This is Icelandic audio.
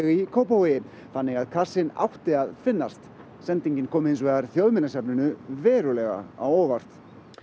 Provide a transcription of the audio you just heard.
í Kópavogi þannig að kassinn átti að finnast sendingin kom hins vegar Þjóðminjasafninu verulega á óvart